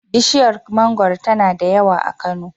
Bishiyar mangoro tana da yawa a Kano.